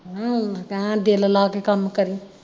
ਕਹਿਣ ਦਿਲ ਲਾ ਕੇ ਕੰਮ ਕਰੀ